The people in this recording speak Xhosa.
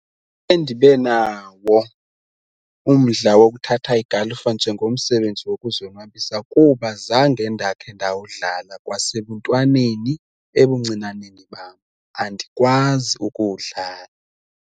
Endibe nawo umdla wokuthatha igalufa njengomsebenzi wokuzonwabisa kuba zange ndakhe ndawudlala kwasebuntwaneni ebuncinaneni bam andikwazi ukuwudlala.